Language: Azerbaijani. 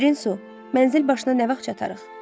Şirin su mənzil başına nə vaxt çatarıq?